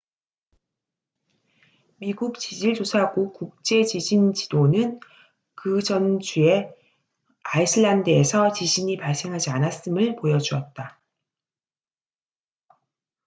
미국 지질조사국 국제 지진 지도는 그전 주에 아이슬란드에서 지진이 발생하지 않았음을 보여주었다